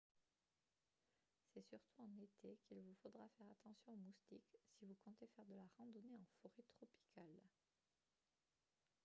c'est surtout en été qu'il vous faudra faire attention aux moustiques si vous comptez faire de la randonnée en forêt tropicale